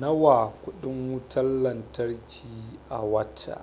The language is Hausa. Nawa kuɗin wutar lantarki a wata?